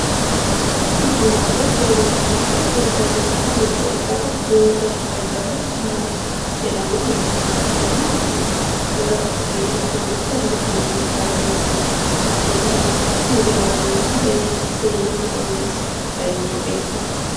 Kun hambaalee seenaa Itiyoophiyaa keessatti beekamu keessaa tokko yoo ta'u, dallaa Harar jedhamee beekama. Dallaan kun bara durii mootummoota darbaniin Hararitti guddatee kan ijaarame waan ta'eef seena qabeessa ta'ee beekame.